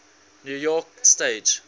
new york stage